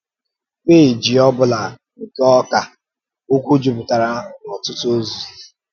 Pééjì ọ̀bụ̀la nke Ọkà um Okwú jupụtara n’ọ̀tụ́tụ́ òzì.